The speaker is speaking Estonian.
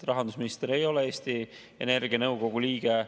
Rahandusminister ei ole Eesti Energia nõukogu liige.